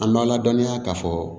An b'a ladɔniya k'a fɔ